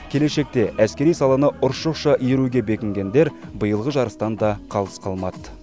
келешекте әскери саланы ұршықша иіруге бекінгендер биылғы жарыстан да қалыс қалмады